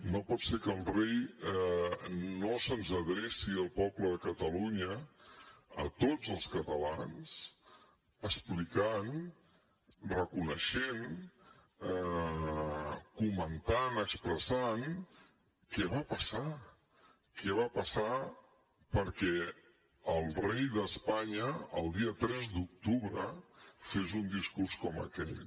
no pot ser que el rei no se’ns adreci al poble de catalunya a tots els catalans explicant reconeixent comentant expressant què va passar què va passar perquè el rei d’espanya el dia tres d’octubre fes un discurs com aquell